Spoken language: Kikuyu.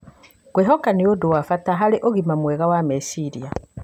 Kwĩhoka nĩ ũndũ wa bata harĩ ũgima mwega wa meciria.